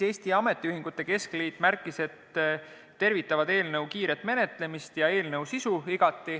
Eesti Ametiühingute Keskliit märkis, et nad tervitavad igati eelnõu kiiret menetlemist ja eelnõu sisu.